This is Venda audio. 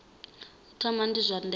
u thoma ndi zwa ndeme